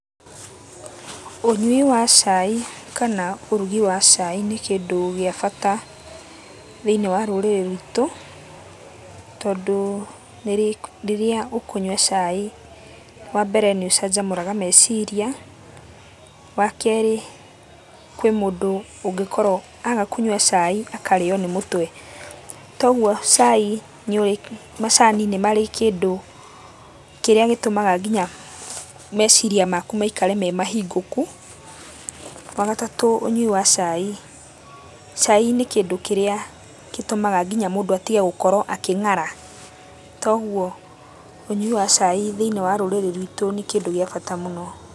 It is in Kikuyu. Ũnyui wa cai kana ũrugi wa cai nĩ kĩndũ gĩa bata thĩiniĩ wa rũrĩrĩ rwitũ tondũ rĩrĩa ũkũnywa cai, wa mbere nĩ ũcanjamũraga meciria, wa kerĩ kwĩ mũndũ ũngĩkorwo aga kũnyua cai akarĩyo nĩ mũtwe, toguo cai nĩ ũrĩ macani nĩ marĩ kĩndũ kĩrĩa gĩtũmaga nginya meciria makũ maikare memahingũku, wa gatatũ ũnyui wa cai, cai nĩ kĩndũ kĩrĩa gĩtũmaga nginya mũndũ atige gũkorwo akĩng'ara toguo kũnyua cai thĩiniĩ wa rũrĩrĩ rwitũ nĩ kĩndũ gĩa bata mũno.